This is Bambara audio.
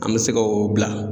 An be se k'o bila.